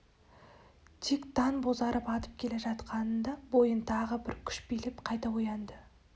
тек таң бозарып атып келе жатқанында бойын тағы бір күш билеп қайта оянды